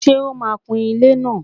Ṣe ó maa kun ilẹ́ náà?